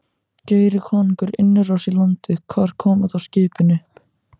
Geri konungur innrás í landið, hvar koma þá skipin upp?